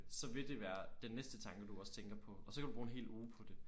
Så vil det være den næste tanke du også tænker på og så kan du bruge en hel uge på det